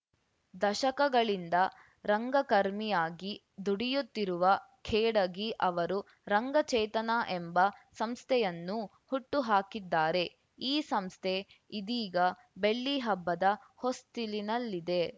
ದಶಕಗಳಿಂದ ರಂಗಕರ್ಮಿಯಾಗಿ ದುಡಿಯುತ್ತಿರುವ ಖೇಡಗಿ ಅವರು ರಂಗಚೇತನ ಎಂಬ ಸಂಸ್ಥೆಯನ್ನೂ ಹುಟ್ಟು ಹಾಕಿದ್ದಾರೆ ಈ ಸಂಸ್ಥೆ ಇದೀಗ ಬೆಳ್ಳಿಹಬ್ಬದ ಹೊಸ್ತಿಲಿನಲ್ಲಿದೆ